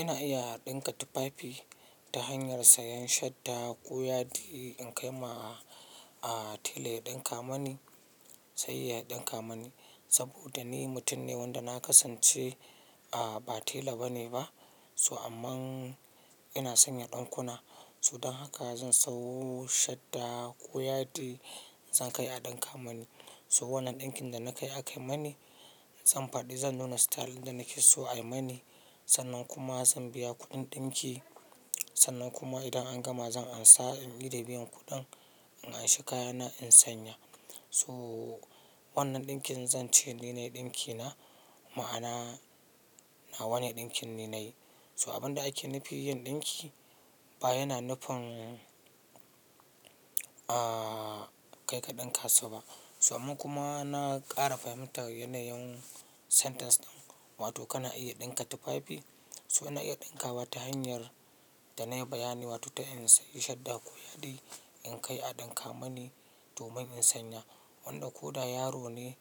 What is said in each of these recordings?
Ina iya ɗinka tufafi ta hanyar sayan shadda ko yadi in kai ma a tela ya ɗinka mani, sai ya ɗinka mani. Saboda ni mutum ne wanda na kasance ba tela bane ba, so amman ina sanya ɗinkuna. To dan haka zan sawo shadda ko yadi zan kai a ɗinka mani. To wannan ɗinkin da na kai aka yi mani zan faɗi, zan nuna style ɗin da nake so ayi mani. Sannan kuma zan biya kuɗin ɗinki. Sannan kuma idan an gama zan ansa, in ida biyan kuɗin, in an shi kayana in sanya. To wannan ɗinkin zan ce ni nayi ɗinkina, ma'ana na wane ɗinkin ni nayi to abun da ake nufi yin ɗinki ba yana nufin, kai ka ɗinka sa ba. To amma kuma na ƙara fahimtar yanayin sentence ɗin. Wato kana iya ɗinka tufafi. To ina iya ɗinka wa ta hanyar da na yi bayani, wato ta in sayi shadda ko yadi in kai a ɗinka mani domin in sanya. Wanda ko da yaro ne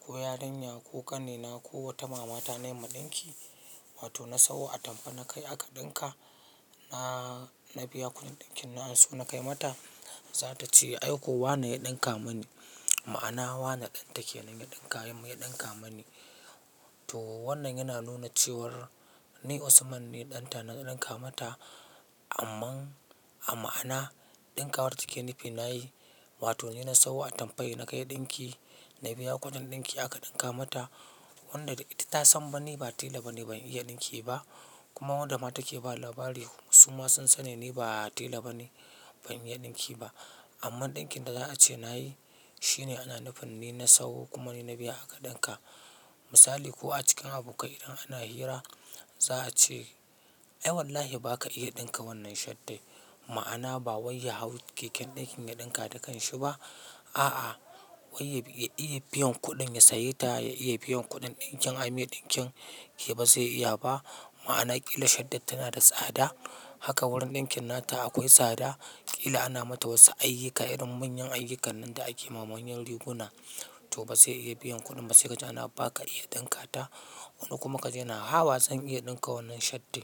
ko yarinya ko ƙanina ko wata mamata na yi ma ɗinki. Wato na sawo atamfa na kai aka ɗinka, na, na biya kuɗin ɗinkin na anso na kai mata. Za ta ce "ai ko wane ya ɗinka mini", ma'ana wane ɗan take nan ya ɗinka, ya ɗinka mini. To wannan yana nuna cewar ni Usman ne ɗanta na ɗinka mata, amman a ma'ana ɗinka war da take nufi na yi. Wato ni na sawo atamfa na kai ɗinki, na biya kuɗin ɗinki aka ɗinka mata. Wanda ita ta san ni ba tela bane ban iya ɗinki ba, kuma wanda ma take bawa labari su ma sun sani ni ba tela bane ban iya ɗinki ba. Amma ɗinkin da za a ce na yi shine ana nufin ni na sawo kuma ni na biya aka ɗinka. Misali ko a cikin abokai idan ana hira za a ce "ai wallahi baka iya ɗinka wannan shadda", ma'ana ba wai ya hau keken ɗinkin ya ɗinka da kanshi ba. A'a, wai ya iya biyan kuɗin ya saye ta, ya iya biyan kuɗin ɗinkin ayi mai ɗinkin, shi ba zai iya ba. Ma'ana ƙila shaddan tana da tsada, haka wurin ɗinkin nata akwai tsada. Ƙila ana mata wasu ayyuka irin manyan ayyukannan da ake ma manyan riguna. To ba zai iya biyan kuɗin ba sai kaji ana "baka iya ɗinka ta". Wani kuma ka ji yana haba "zan iya ɗinka wannan shadda".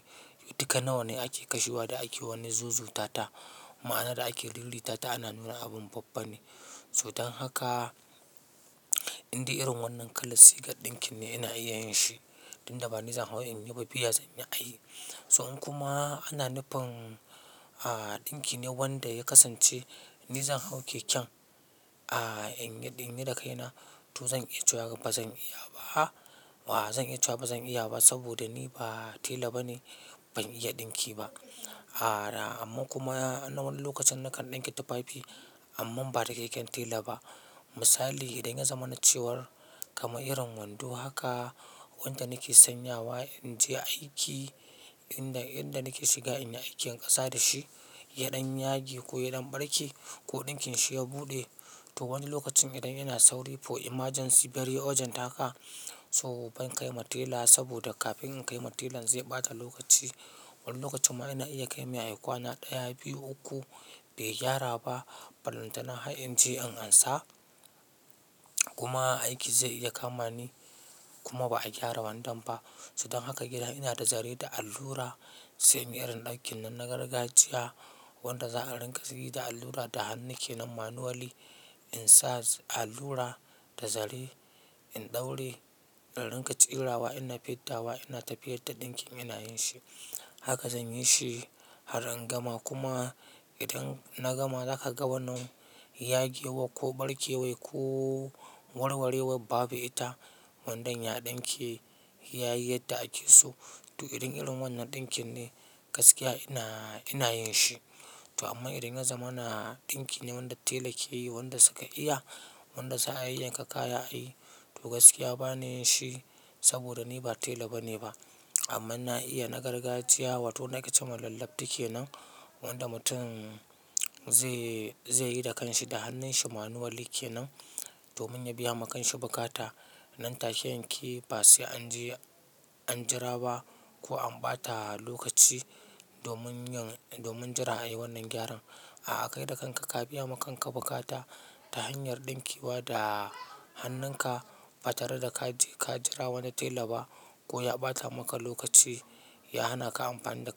Duka nawa ne ake kashewa da ake wani zuzuta ta, ma'ana da ake rirrita ta ana nuna abun babbane. To dan haka, in dai irin wannan kalar sigan ɗinki ne ina iya yin shi, tunda ba nizan hau in yi ba biya zanyi a yi. To in kuma ana nufin, a, ɗinki ne wanda ya kasance nizan hau keken, a, in yi da kai na to zan iya cewa ba zan iya ba. Zan iya cewa ba zan iya ba saboda ni ba tela bane ban iya ɗinki ba. Amma kuma a wani lokacin na kan ɗinke tufafi amman ba da keken tela ba. Misali idan ya zama na cewar kamar irin wando haka wanda nake sanya wa in je aiki, inda, yadda nake shiga inyi aikin ƙasa da shi, yaɗan yage ko yaɗan ɓarke ko ɗinkin shi ya buɗe. To wani lokacin idan ina sauri for emergency very urgent haka so ban kai ma tela saboda kafin in kai ma telan zai ɓata lokaci. Wani lokacin ma ina iya kai mai ayi kwana ɗaya, biyu, uku bai gyara ba. Bal'antana har in je in ansa, kuma aiki zai iya kama ni kuma ba'a gyara wandon ba so dan haka idan inada zare da allura se inyi irin dinkinnan na gargajiya wanda za'a riƙa seta allura da hannu kenan manually insa allura da zare in daure in riƙa tsirawa ina fiddawa ina tafiyar da dinkin ina yinshi haka zanyi shi har in gama kuma idan na gama za'a ga wannan yagewar ko ɓarkewar ko warwarewar babu ita wandon ya ɗinkule yayi yadda akeso to irin, irin wannan ɗinkin ne gaskiya ina, ina yin shi. To amman idan ya zamana ɗinki ne wanda tela keyi wanda suka iya wanda za'a yayyanka kaya ayi to gaskiya bana yinshi saboda ni ba tela bane ba. Amman na iya na gargajiya wato wanda ake cema kenan. Wanda mutum ze zeyi da kanshi da hannun shi manually kenan domin ya biyama kanshi bukata ɗan tashe yanke ba sai anje an jira ba ko an ɓata lokaci domin yin domin jira ayi wannan gyaran a a kai da kanka ka biyama kanka bukata ta hanyar ɗinkewa da hannun ka ba tareda kaje ka jira wani tela ba ko ya ɓata maka lokaci ya hana ka amfani da.